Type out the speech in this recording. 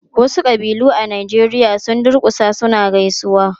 Wasu ƙabilu a Najeriya sun durkusa suna gaisawa.